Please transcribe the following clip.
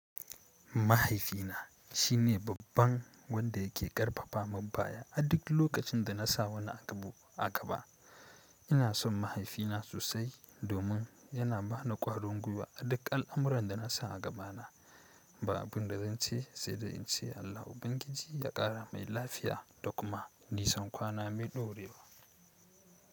Mahaifina shine babban wanda yake ƙarfafa mun baya a duk lokacin da na sa wani agbu a gaba. Ina son mahaifina sosai domin yana bani kwarin gwiwa a duk al'amuran da na sa a gabana. Ba abin da zan ce sai da in ce Allah Ubangiji ya ƙara mai lafiya da kuma nisan kwana mai ɗorewa.